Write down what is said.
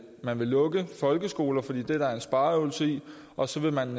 man vil lukke folkeskoler fordi det er der en spareøvelse i og så vil man